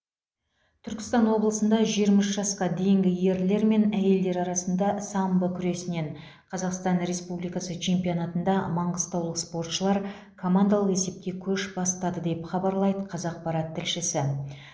түркістан облысында жиырма үш жасқа дейінгі ерлер мен әйелдер арасында самбо күресінен қазақстан республикасы чемпионатында маңғыстаулық спортшылар командалық есепте көш бастады деп хабарлайды қазақпарат тілшісі